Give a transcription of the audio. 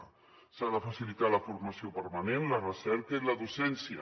s’ha de facilitar s’ha de facilitar la formació permanent la recerca i la docència